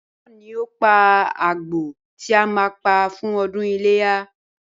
Báyò̩ ni yóò pa àgbò tí a máa pa fún o̩dún iléyá